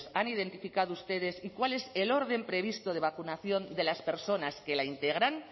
han identificado ustedes y cuál es el orden previsto de vacunación de las personas que la integran